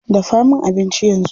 Dafa min abinci yanzu.